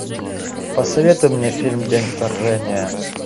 посоветуй мне фильм день вторжения